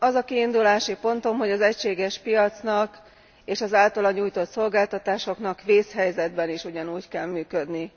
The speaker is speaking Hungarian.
Az a kiindulási pontom, hogy az egységes piacnak és az általa nyújtott szolgáltatásoknak vészhelyzetben is ugyanúgy kell működni.